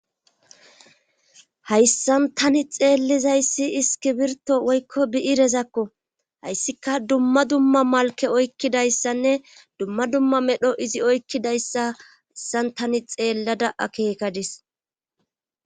Hayssan tani xeellizayssi iskibirto woykko bi7irezakko hayssika dumma dumma malke oykkidayssanne dumma dumma medho izi oykkidayssa hassan tani xeellada akeekadis